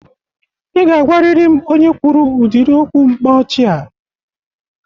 Ị ga-agwarịrị m onye kwuru ụdịrị okwu mkpa ọchị a!